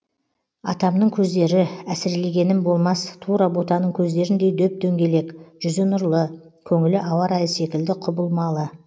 атамның көздері әсірелегенім болмас тура ботаның көздеріндей дөп дөңгелек жүзі нұрлы көңілі ауа райы секілді құбылмалы